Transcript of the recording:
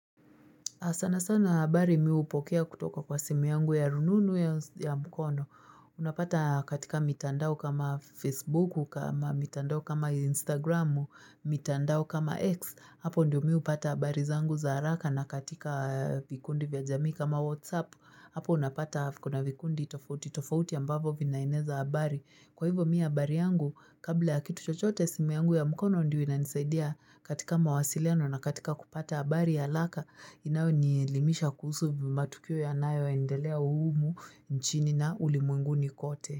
Sana sana habari mi hupokea kutoka kwa simu yangu ya rununu au ya mkono. Unapata katika mitandao kama Facebooku, kama mitandao kama Instagramu, mitandao kama X. Hapo ndio mi hupata habari zangu za haraka na katika vikundi vya jamii kama WhatsApp. Hapo unapata kuna vikundi tofauti. Tofauti ambapo vinaeneza habari. Kwa hivyo mi habari yangu, kabla ya kitu chochote simu yangu ya mkono ndio inanisaidia katika mawasiliano na katika kupata habari ya laka. Inayo nielimisha kuhusu matukio yanayo endelea humu humu nchini na ulimwenguni kote.